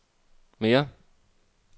mere